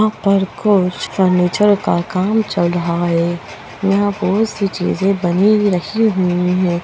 यहा पर कुछ फर्निचर का काम चल रहा है यहा बहुत सी चीजे बनी हुई रखी हुई है।